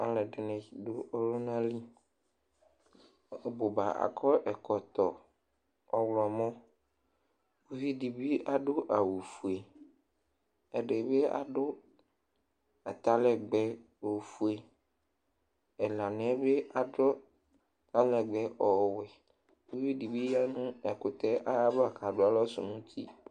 Alʋ ɛdini dʋ ɔlʋna li ɔbʋba akɔ ɛkɔtɔ ɔwlɔmɔ ʋvidi bi adʋ awʋfue ɛdi bi adʋ atalɛgbɛ ofue ɛlaniɛ bi adʋ atalɛgbɛ ɔwɛ ʋvidbi ɔyaʋ ɛkʋtɛ yɛ ayʋ alɔ kʋ adʋ alɔ sʋnʋ iti